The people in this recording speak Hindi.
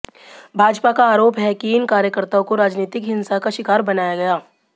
भाजपा का आरोप है कि इन कार्यकर्ताओं को राजनीतिक हिंसा का शिकार बनाया गया